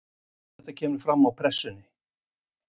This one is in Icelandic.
Þetta kemur fram á Pressunni